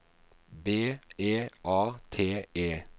B E A T E